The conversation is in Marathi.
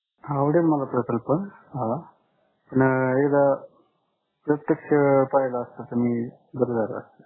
आवडेल मला प्रकल्प पण एकदा प्रत्यक्ष पाहिला असता तर मी बरं झालं असतं.